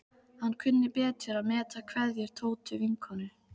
Hann kunni betur að meta kveðjur Tótu vinnukonu.